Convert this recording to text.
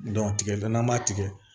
tigɛlen n'an b'a tigɛ